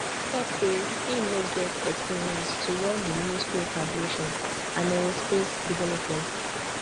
tok say im no get experience to run di ministry of aviation and aerospace development